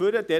heraus-